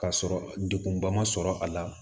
Ka sɔrɔ degunba ma sɔrɔ a la